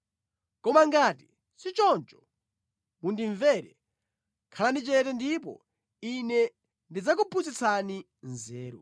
Koma ngati sichoncho, mundimvere; khalani chete ndipo ine ndidzakuphunzitsani nzeru.”